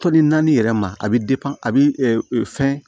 Tɔni naani yɛrɛ ma a bɛ a bɛ fɛn